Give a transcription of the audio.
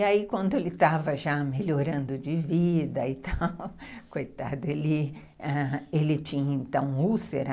E aí quando ele estava já melhorando de vida e tal, coitado, ele tinha então úlcera